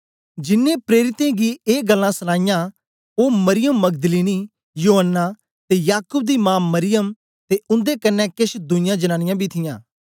जिन्नें प्रेरित गी ए गल्लां सूनाईयां ओ मरियम मगदलीनी योअन्ना ते याकूब दी मा मरियम ते उन्दे कन्ने केछ दुईयां जनांनीयां बी थीयां